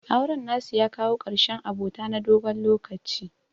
Auren nasu ya kawo ƙarshen abota na dogon lokaci.